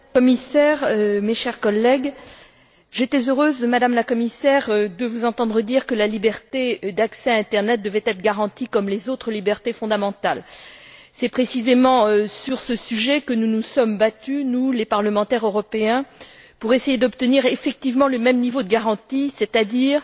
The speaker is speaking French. Monsieur le Président, Madame la Commissaire, mes chers collègues, j'étais heureuse, Madame la Commissaire, de vous entendre dire que la liberté d'accès à l'internet devait être garantie comme les autres libertés fondamentales. C'est précisément sur ce sujet que nous nous sommes battus, nous, parlementaires européens, pour essayer d'obtenir effectivement le même niveau de garantie, c'est à dire